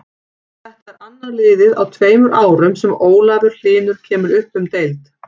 Þetta er annað liðið á tveimur árum sem Ólafur Hlynur kemur upp um deild.